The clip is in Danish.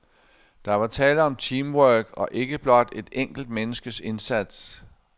Der var tale om teamwork og ikke blot et enkelt menneskes indsats.